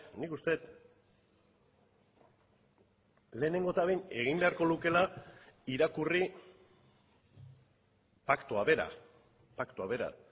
nik uste dut lehenengo eta behin egin beharko lukeela irakurri paktua bera paktua bera